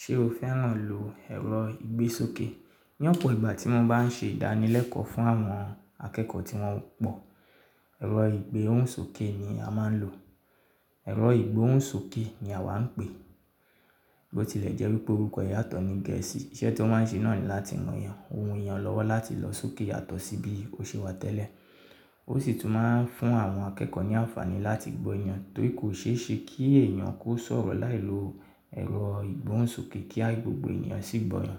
Ṣé o fẹ́ràn lò ẹ̀rọ ìgbésókè? Ní ọ̀pọ̀ ìgbà tí wọ́n bá ń ṣe ìdánilẹ́kọ̀ọ́ fún àwọn akẹ́kọ̀ọ́ tí wọ́n pọ̀, ẹ̀rọ ìgbóhùnsókè ni a máa ń lò. Ẹ̀rọ ìgbóhùnsókè ni àwa ń pè é. Bó tilẹ̀ jẹ́ wípé orúkọ ìyàtọ̀ ni Gẹ̀ẹ́sì. Iṣẹ́ tí ó máa ń ṣe náà ni láti yan ohun ìyàn lọ́wọ́ láti lọ sókè yàtọ̀ sí bí ó ṣe wà tẹ́lẹ̀. Ó sì tún máa ń fún àwọn akẹ́kọ̀ọ́ ní àǹfààní láti gbó'yàn, torí kò ṣe é ṣe kí èèyàn kó sọ̀rọ̀ láì lo ẹ̀rọ ìgbóhùnsókè kí gbogbo ènìyàn sì gbóyàn.